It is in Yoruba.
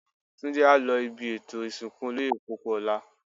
Túndé á lọ ibi ètò ìsìnkú Olóyè Pópóọlá.